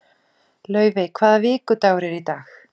Laufey, hvaða vikudagur er í dag?